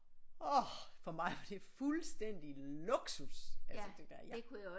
Orh for mig var det fuldstændig luksus altså det der ja